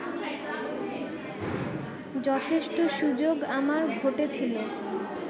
যথেষ্ট সুযোগ আমার ঘটেছিল